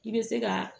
I bɛ se ka